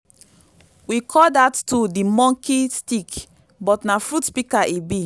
we call dat tool di monki stick but na fruit pika e bi